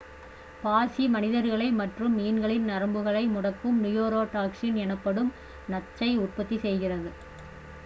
பாசி மனிதர்கள் மற்றும் மீன்களின் நரம்புகளை முடக்கும் நியூரோடாக்சின் எனப்படும் நச்சை உற்பத்தி செய்கிறது